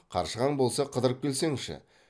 қаршығаң болса қыдырып келсеңші